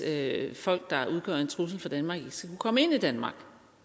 at folk der udgør en trussel for danmark ikke skal kunne komme ind i danmark